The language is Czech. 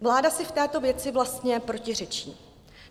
Vláda si v této věci vlastně protiřečí.